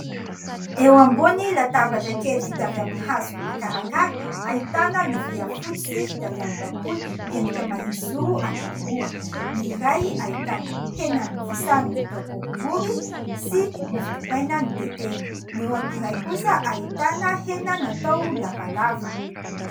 Eo ambony latabatra kely vita avy amin'ny hazo makarakara ahitana lovia fotsy sy vita avy amin'ny bakoly miendrika mahitsijoro anankiroa. Ny iray ahitana hena nofisahana natao boribory sy mofo dipaina notetehina, ny eo amin'ny iray kosa ahitana hena natao lavalava.